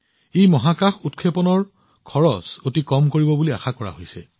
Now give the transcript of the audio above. এইটোৱে মহাকাশ উৎক্ষেপণৰ মূল্য যথেষ্ট হ্ৰাস কৰিব বুলি আশা কৰা হৈছে